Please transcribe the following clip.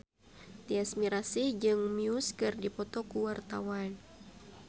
Tyas Mirasih jeung Muse keur dipoto ku wartawan